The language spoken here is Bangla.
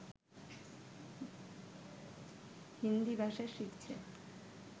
হিন্দী ভাষা শিখছে